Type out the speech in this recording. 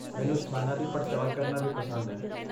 ਮੈਨੂੰ ਸਥਾਨਾਂ ਦੀ ਪੜਚੋਲ ਕਰਨਾ ਵੀ ਪਸੰਦ ਹੈ।